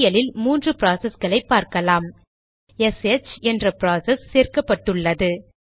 பட்டியலில் 3 ப்ராசஸ்களை பார்க்கலாம்எஸ்ஹெச் என்ற ப்ராசஸ் சேர்க்கப்பட்டுள்ளது